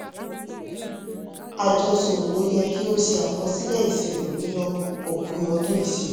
àjọ ṣòwò yẹ kí ó ṣe àkọsílẹ̀ ìṣirò ní òpin ọdún ìṣirò.